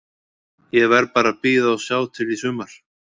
Ég verð bara að bíða og sjá til í sumar.